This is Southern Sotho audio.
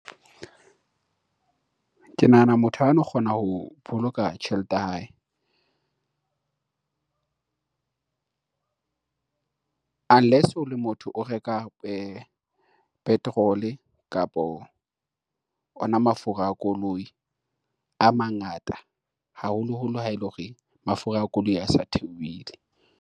Ke nahana motho ha no kgona ho boloka tjhelete ya hae. Unless o le motho, o reka petrol-e kapo ona mafura a koloi a mangata, haholoholo ha ele hore mafura a koloi a sa theowile.